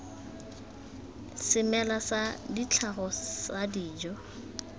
semela sa tlhago sa dijo